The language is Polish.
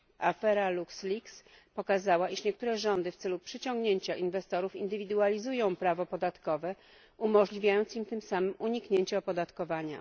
Afera LuxLeaks pokazała, iż niektóre rządy w celu przyciągnięcia inwestorów indywidualizują prawo podatkowe, umożliwiając tym samym uniknięcie opodatkowania.